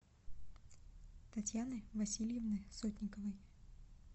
татьяны васильевны сотниковой